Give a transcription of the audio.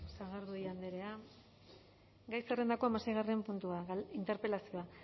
eskerrik asko sagardui andrea gai zerrendako hamaseigarren puntua interpelazioa